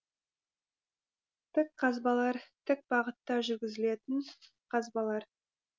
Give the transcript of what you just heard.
тік қазбалар тік бағытта жүргізілетін қазбалар